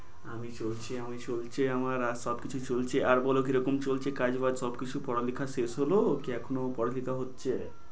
আমি চলছি, আমি চলছি, আমার আর সবকিছু চলছে। আর বলো কিরকম চলছে কাজ-বাগ সবকিছু, পড়ালেখা শেষ হলো কি এখনো পড়ালেখা হচ্ছে?